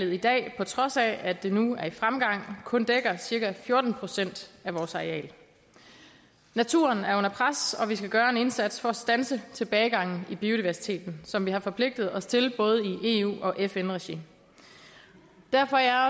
i dag på trods af at det nu er i fremgang kun dækker cirka fjorten procent af vores areal naturen er under pres og vi skal gøre en indsats for at standse tilbagegangen i biodiversiteten som vi har forpligtet os til i både eu og fn regi derfor er